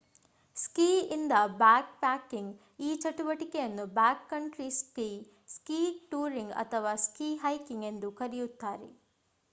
ಸ್ಕಿ ಇಂದ ಬ್ಯಾಕ್‌ಪ್ಯಾಕಿಂಗ್: ಈ ಚಟುವಟಿಕೆಯನ್ನು ಬ್ಯಾಕ್‌ಕಂಟ್ರಿ ಸ್ಕೀ ಸ್ಕೀ ಟೂರಿಂಗ್ ಅಥವಾ ಸ್ಕೀ ಹೈಕಿಂಗ್ ಎಂದೂ ಕರೆಯಲಾಗಿದೆ